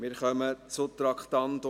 Wir kommen zum Traktandum 37.